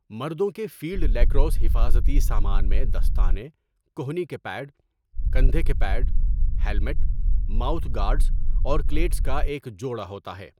مردوں کے field lacrosse حفاظتی سامان میں دستانے، کہنی کے پیڈ، کندھے کے پیڈ، ہیلمٹ، ماؤتھ گارڈز اور کلیٹس کا ایک جوڑا ہوتا ہے۔